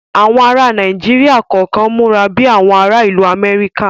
Àwọn ara Nàíjíríà kọ̀kan múra bi àwọn ara ìlú Amẹ́ríkà